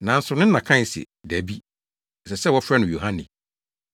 Nanso ne na kae se, “Dabi! Ɛsɛ sɛ wɔfrɛ no Yohane.”